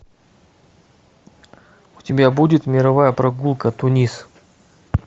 у тебя будет мировая прогулка тунис